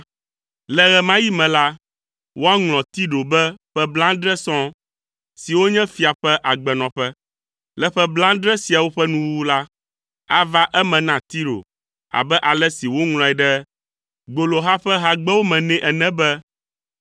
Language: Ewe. Le ɣe ma ɣi me la, woaŋlɔ Tiro be ƒe blaadre sɔŋ; siwo nye fia ƒe agbenɔƒe. Le ƒe blaadre siawo ƒe nuwuwu la, ava eme na Tiro abe ale si woŋlɔe ɖe gboloha ƒe hagbewo me nɛ ene be,